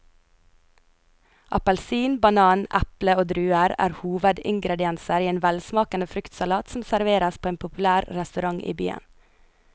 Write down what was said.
Appelsin, banan, eple og druer er hovedingredienser i en velsmakende fruktsalat som serveres på en populær restaurant i byen.